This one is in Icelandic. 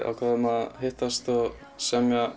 ákváðum að hittast og semja